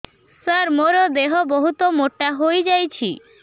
ସାର ମୋର ଦେହ ବହୁତ ମୋଟା ହୋଇଯାଉଛି